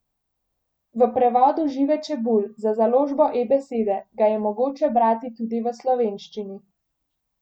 V prevodu Žive Čebulj za založbo eBesede ga je mogoče brati tudi v slovenščini.